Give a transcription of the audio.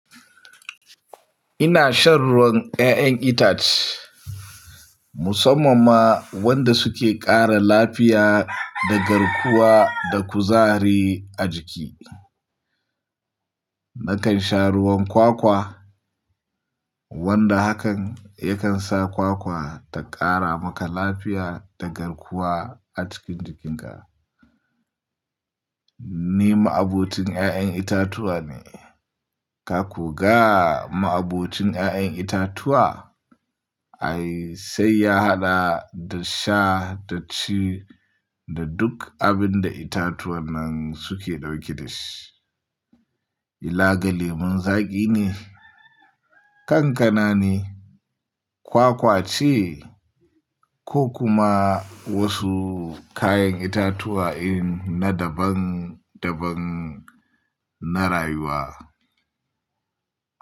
Ina shan ruwan ƴaƴen itace musamman ma wanda suke ƙara lafiya da garkuwa da kuzari a jiki. Nakan sha ruwan kwakwa wanda hakan yakan sa kwakwa ta ƙara maka lafiya da garkuwa a cikin jikinka. Ni ma'abocin ƴaƴen itatuwa ne. Ka ko ga ma'abocin ƴaƴen itatuwa? Ai sai ya haɗa da sha da ci da duk abin da itatuwan nan suke ɗauke da shi. Ila ga lemon zaƙi ne, kankana ne, kwakwa ce ko kuma wasu kayan itatuwa irin na daban-daban na rayuwa.